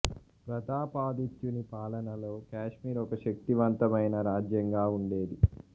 ప్రతాపాదిత్యుని పాలనలో కాశ్మీర్ ఒక శక్తి వంతమైన రాజ్యంగా వుండేది